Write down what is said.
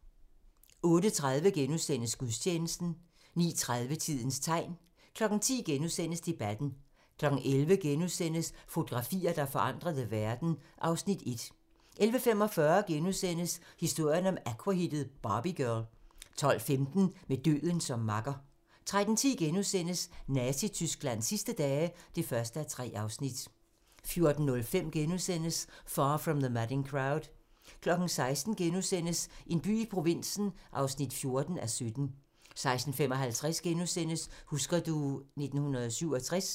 08:30: Gudstjeneste * 09:30: Tidens tegn 10:00: Debatten * 11:00: Fotografier, der forandrede verden (Afs. 1)* 11:45: Historien om Aqua-hittet Barbie Girl * 12:15: Med døden som makker 13:10: Nazi-Tysklands sidste dage (1:3)* 14:05: Far From the Madding Crowd * 16:00: En by i provinsen (14:17)* 16:55: Husker du ... 1967 *